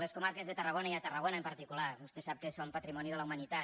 les comarques de tarragona i tarragona en particular vostè sap que són patrimoni de la humanitat